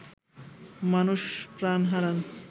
মানুষ প্রাণ হারান